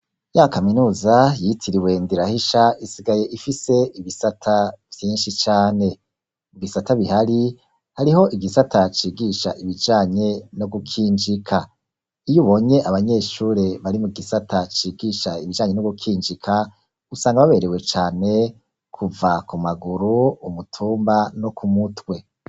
Ya kaminuza, yitiriwe Ndirahisha, isigaye ifise ibisata vyinshi cane; ibisata bihari, hariho igisata cigisha ibijanye no gukinjika; iyo ubonye abanyeshure bari mu gisata cigisha ibijanye no gukinjika, usanga baberewe cane, kuva ku maguru, umutumba, no ku mutwe.